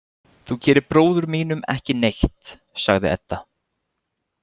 Þú gerir bróður mínum ekki neitt, sagði Edda.